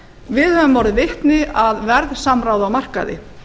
við höfum orðið vitni að verðsamráði á markaði